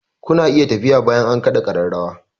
Ku na iya tafiya bayan an kaɗa ƙararrawa!